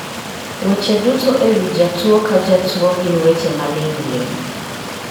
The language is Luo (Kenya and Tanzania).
Weche duto e wi jatuwo ka jatuwo gin weche maling'ling'.